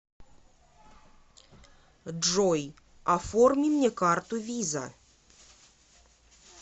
джой оформи мне карту виза